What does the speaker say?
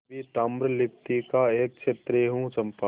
मैं भी ताम्रलिप्ति का एक क्षत्रिय हूँ चंपा